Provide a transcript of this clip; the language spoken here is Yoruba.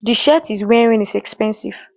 The shirt he is wearining is epensive